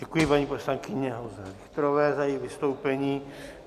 Děkuji paní poslankyni Olze Richterové za její vystoupení.